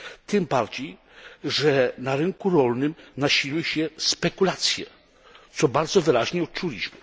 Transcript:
Tym bardziej, że na rynku rolnym nasiliły się spekulacje, co bardzo wyraźnie odczuliśmy.